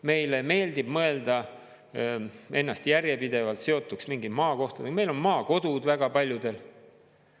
Meile meeldib mõelda ennast järjepidevalt seotuks mingi maakohaga, meil on maakodud väga paljudel.